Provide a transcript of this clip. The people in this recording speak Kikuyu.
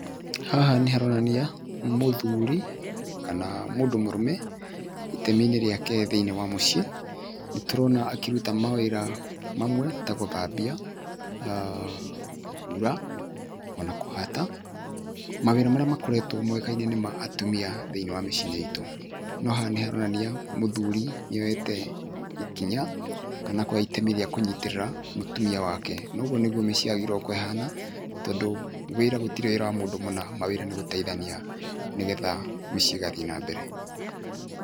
Haha nĩ haronania mũthuri kana mũndũ mũrũme itemi-inĩ rĩake thĩiniĩ wa mũciĩ, nĩtũrona akĩruta mawĩra mamwe ta gũthambia na kũhura ona kũhata. Mawĩra marĩa makoretwo mũgeka-inĩ nĩ ma atumia thĩiniĩ wa mĩciĩ itũ, no haha nĩ haronania mũthuri nĩoete ikinya kana akoya itemi rĩa kũnyitĩrĩra mũtumia wake, noguo nĩguo mĩciĩ yagĩrĩiruo gũkorwo ĩhana tondũ wĩra gũtirĩ wĩra wa mũndũ mũna mawĩra nĩ gũteithania nĩgetha mĩciĩ ĩgathiĩ nambere.